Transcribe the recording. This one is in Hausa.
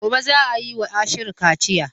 Gobe za a yi wa Ashiru kaciya.